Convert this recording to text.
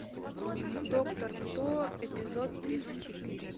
доктор кто эпизод тридцать четыре